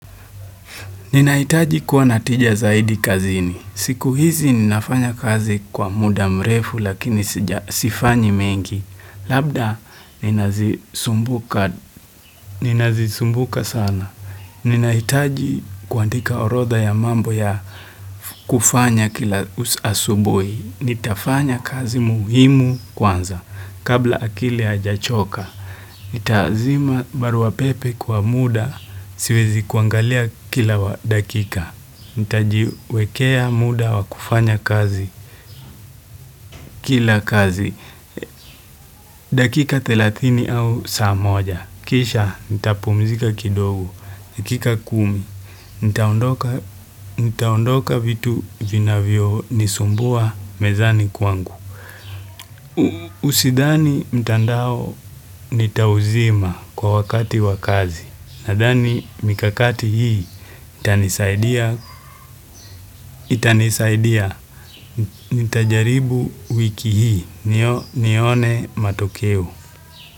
Ninahitaji kuwa na tija zaidi kazini. Siku hizi ninafanya kazi kwa muda mrefu lakini sifanyi mengi. Labda ninazisumbuka sana. Ninahitaji kuandika orotha ya mambo ya kufanya kila asasubui. Nitafanya kazi muhimu kwanza, kabla akili ajachoka. Nitazima baruapepe kwa muda, siwezi kuangalia kila dakika. Nitajiwekea muda wa kufanya kazi, kila kazi, dakika 30 au saa moja. Kisha, nitapumzika kidogo, dakika 10. Nitaondoka vitu vinavyo nisumbua mezani kwangu. Usidhani mtandao nitauzima kwa wakati wa kazi Nadhani mikakati hii itanisaidia nitajaribu wiki hii nione matokeo.